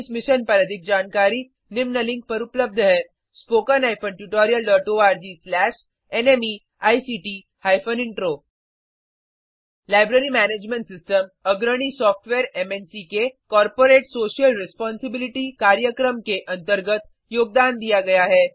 इस मिशन पर अधिक जानकारी निम्न लिंक पर उपलब्ध है httpspoken tutorialorgNMEICT intro library management system अग्रणी सॉफ्टवेयर मन्क के कॉर्पोरेट सोशल रिस्पोंसिबिलिटी कार्यक्रम के अंतर्गत योगदान दिया गया है